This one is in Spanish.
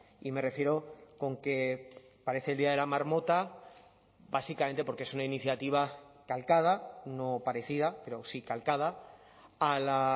y me refiero con que parece el día de la marmota básicamente porque es una iniciativa calcada no parecida pero sí calcada a la